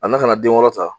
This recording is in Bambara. A na ka na den wɔrɔ ta